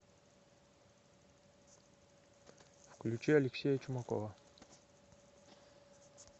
включи алексея чумакова